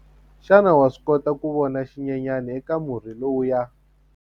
Xana wa swi kota ku vona xinyenyana eka murhi lowuya?